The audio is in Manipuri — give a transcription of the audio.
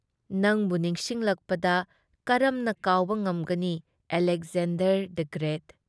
ꯅꯪꯕꯨ ꯅꯤꯡꯁꯤꯡꯂꯛꯄꯗ ꯀꯔꯝꯅ ꯀꯥꯎꯕ ꯉꯝꯒꯅꯤ ꯑꯂꯦꯛꯖꯦꯟꯗꯔ ꯗꯤ ꯒ꯭ꯔꯦꯠ ꯫